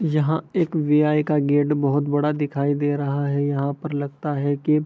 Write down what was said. यहाँ एक वी.आई. का गेट बहुत बड़ा दिखाई दे रहा है यहाँ पर लगता है की --